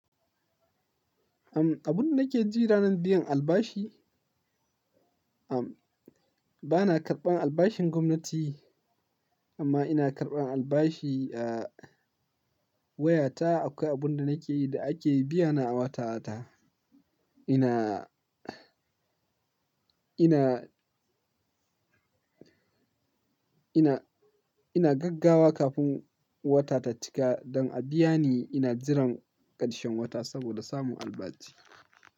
Am, abun da nake ji ranar biyan albashi, am, ba na karɓan albashin gwamnati amma ina karɓan albashi, a, wayata. Akwai abun da nake yi da ake biyana a wata-wata. Ina, ina, ina, ina gaggawa kafin wata ta cika don a biya ni. Ina jiran ƙarshen wata saboda samun albashi.